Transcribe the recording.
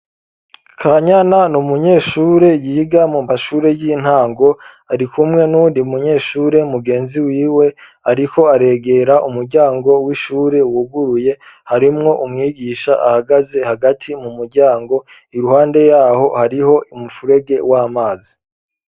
kanyana n'umunyeshure yiga mu mashure y'intango ari kumwe n'undi munyeshure mugenzi wiwe ariko aregera umuryango w'ishure wuguruye harimwo umwigisha ahagaze hagati mu muryango iruhande yaho hariho umufurege w'amazi.